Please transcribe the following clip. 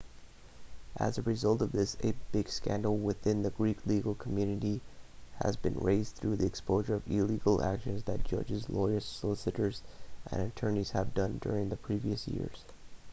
as a result of this a big scandal within the greek legal community has been raised through the exposure of illegal actions that judges lawyers solicitors and attorneys have done during the previous years